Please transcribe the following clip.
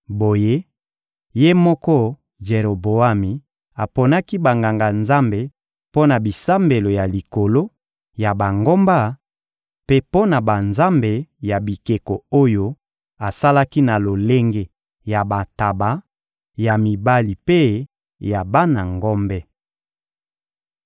Boye, ye moko Jeroboami aponaki banganga-nzambe mpo na bisambelo ya likolo ya bangomba mpe mpo na banzambe ya bikeko oyo asalaki na lolenge ya bantaba ya mibali mpe ya bana ngombe.